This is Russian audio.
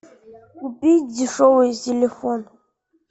купить дешевый телефон